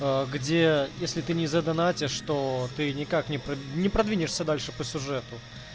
а где если ты не заданонатишь то ты никак не про не продвинется дальше по сюжету